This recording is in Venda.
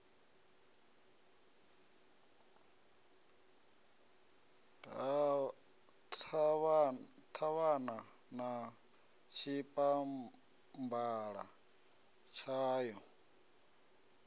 na ṱhavhana na tshipambala tshayo